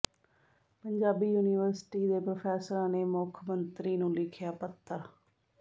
Punjabi university ਦੇ ਪ੍ਰੋਫ਼ੈਸਰਾਂ ਨੇ ਮੁੱਖ ਮੰਤਰੀ ਨੂੰ ਲਿਖਿਆ ਪੱਤਰ